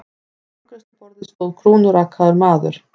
Við afgreiðsluborðið stóð krúnurakaður maður.